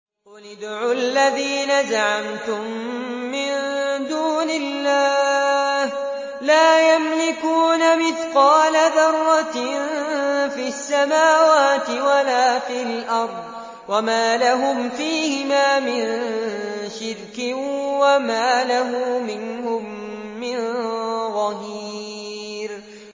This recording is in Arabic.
قُلِ ادْعُوا الَّذِينَ زَعَمْتُم مِّن دُونِ اللَّهِ ۖ لَا يَمْلِكُونَ مِثْقَالَ ذَرَّةٍ فِي السَّمَاوَاتِ وَلَا فِي الْأَرْضِ وَمَا لَهُمْ فِيهِمَا مِن شِرْكٍ وَمَا لَهُ مِنْهُم مِّن ظَهِيرٍ